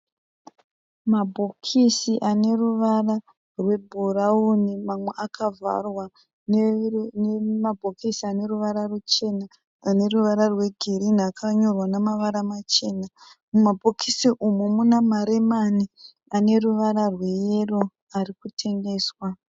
Mabhokisi ane ruvara rwebhurauni. Mamwe akavharwa nemabhokisi ane ruvara ruchena, ane ruvara rweginhi akanyorwa nemavara machena. Mumabhokisi umu muna maremani ane ruvara rweyero ari kutengeswa.